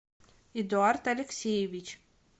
эдуард алексеевич